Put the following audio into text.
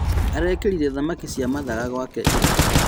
Arekĩrire thamaki cia mathaga kwake ira